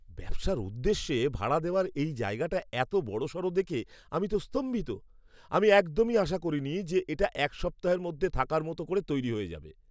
ব্যবসার উদ্দেশ্যে ভাড়া দেওয়ার এই জায়গাটা এতো বড়সড় দেখে আমি তো স্তম্ভিত! আমি একদমই আশা করিনি যে এটা এক সপ্তাহের মধ্যে থাকার মতো করে তৈরি হয়ে যাবে!